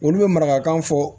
Olu bɛ marakan fɔ